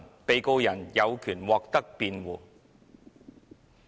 被告人有權獲得辯護。